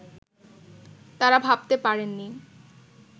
তাঁরা ভাবতে পারেননি